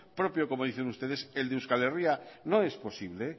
propio como dicen ustedes el de euskal herria no es posible